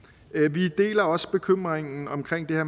vi deler også bekymringen